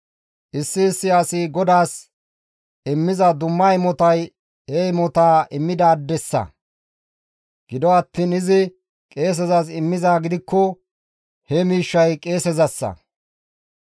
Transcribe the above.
Issi issi asi GODAAS immiza dumma imotay he imotaa immidaadessa; gido attiin izi qeesezas immizaa gidikko he miishshay qeesezassa.»